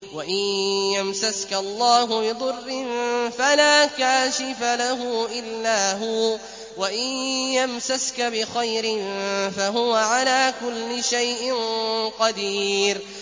وَإِن يَمْسَسْكَ اللَّهُ بِضُرٍّ فَلَا كَاشِفَ لَهُ إِلَّا هُوَ ۖ وَإِن يَمْسَسْكَ بِخَيْرٍ فَهُوَ عَلَىٰ كُلِّ شَيْءٍ قَدِيرٌ